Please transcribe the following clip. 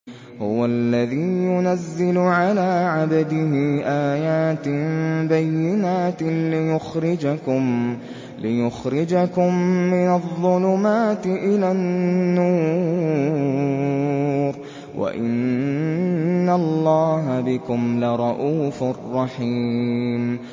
هُوَ الَّذِي يُنَزِّلُ عَلَىٰ عَبْدِهِ آيَاتٍ بَيِّنَاتٍ لِّيُخْرِجَكُم مِّنَ الظُّلُمَاتِ إِلَى النُّورِ ۚ وَإِنَّ اللَّهَ بِكُمْ لَرَءُوفٌ رَّحِيمٌ